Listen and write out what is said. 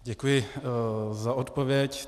Děkuji za odpověď.